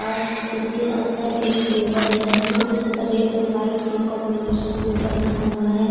इसके अंदर एक टेबल है जो रेड और वाइट के कॉम्बिनेशन में बना है।